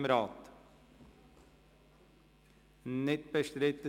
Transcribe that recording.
– Es ist nicht bestritten.